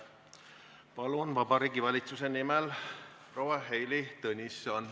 Palun, Vabariigi Valitsuse nimel proua Heili Tõnisson!